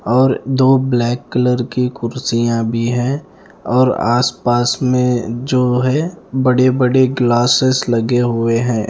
और दो black colour की कुर्सियां भी है और आस-पास में जो है बड़े-बड़े ग्लासेस लगे हुए है।